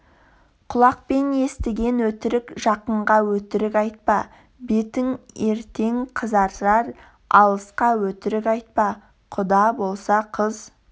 құлақпен естіген өтірік жақынға өтірік айтпа бетің ертең қызарар алысқа өтірік айтпа құда болса қыз